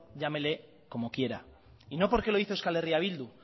llámele como quiera y no porque lo dice euskal herria bildu